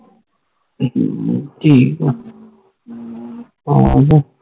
ਠੀਕ ਆ ਹੋਰ